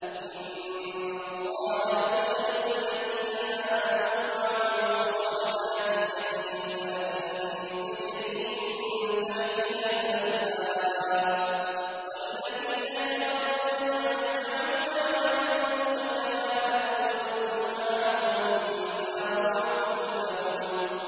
إِنَّ اللَّهَ يُدْخِلُ الَّذِينَ آمَنُوا وَعَمِلُوا الصَّالِحَاتِ جَنَّاتٍ تَجْرِي مِن تَحْتِهَا الْأَنْهَارُ ۖ وَالَّذِينَ كَفَرُوا يَتَمَتَّعُونَ وَيَأْكُلُونَ كَمَا تَأْكُلُ الْأَنْعَامُ وَالنَّارُ مَثْوًى لَّهُمْ